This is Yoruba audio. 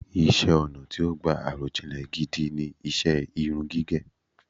Iṣẹ́-ọnà̀ tí ó gbà àròjinlẹ̀ gidi ni iṣẹ́ irun gígẹ̀.